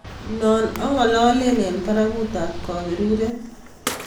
No angalale eng barakutab kaberiret